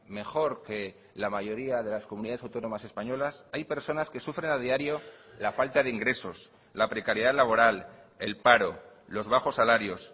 mejor que la mayoría de las comunidades autónomas españolas hay personas que sufren a diario la falta de ingresos la precariedad laboral el paro los bajos salarios